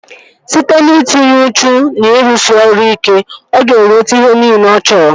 Site n'itinye uchu na ịrụsị ọrụ ike, ọ ga-enweta ihe nile ọ chọrọ